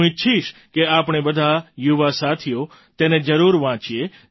હું ઈચ્છીશ કે આપણે બધા યુવા સાથીઓ તેને જરૂર વાંચીએ